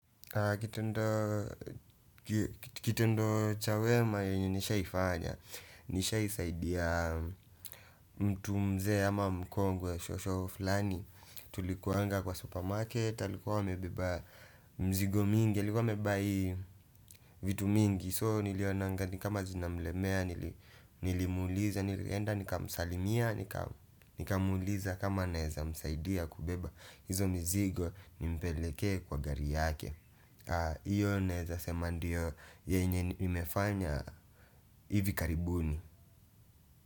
Kitendo cha wema yenye nishai fanya, nishai saidia mtu mzee ama mkongwe, shosho flani. Tulikuanga kwa supermarket, alikuwa amebeba mzigo mingi, alikuwa amebai vitu mingi. So nilionanga ni kama zinamlemea, nilimuuliza, nilienda, nikamsalimia, nikamuuliza kama naeza msaidia kubeba. Hizo mzigo ni mpelekee kwa gari yake. Iyo naeza sema ndio yenye nimefanya hivi karibuni.